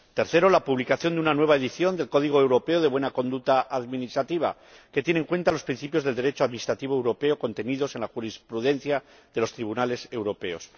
tercero, la publicación de una nueva edición del Código europeo de buena conducta administrativa, que tiene en cuenta los principios del Derecho administrativo europeo contenidos en la jurisprudencia de los tribunales europeos